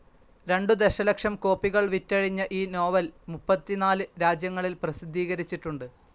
രണ്ടു ദശലക്ഷം കോപ്പികൾ വിറ്റഴിഞ്ഞ ഈ നോവൽ മുപ്പത്തിനാല് രാജ്യങ്ങളിൽ പ്രസിദ്ധീകരിച്ചിട്ടുണ്ട്.